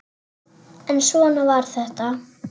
En svona var þetta.